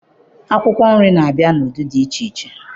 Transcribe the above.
Akwụkwọ nri na-abịa n'ụdị dị iche iche